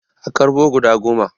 A karɓo guda goma